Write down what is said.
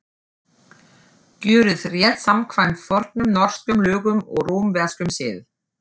Gjörið rétt samkvæmt fornum norskum lögum og rómverskum sið.